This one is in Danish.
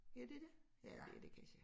Ja det dét ja det det kansje